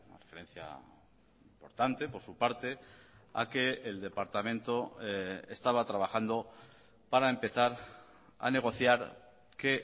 referencia importante por su parte a que el departamento estaba trabajando para empezar a negociar que